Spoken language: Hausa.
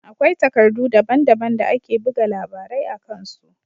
Akwai takardu daban-daban da ake buga labarai a kan su.